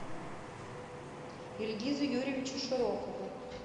ильгизу юрьевичу широкову